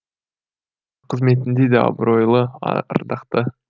қызметінде де абыройлы ардақты